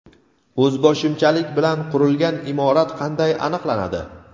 O‘zboshimchalik bilan qurilgan imorat qanday aniqlanadi?.